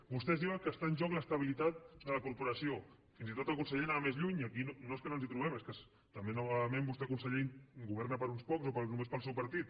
vostès diuen que està en joc l’estabilitat de la corporació fins i tot el conseller anava més lluny i aquí no és que no ens hi trobem és que també novament vostè conseller governa per a uns pocs o només per al seu partit